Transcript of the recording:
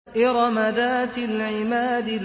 إِرَمَ ذَاتِ الْعِمَادِ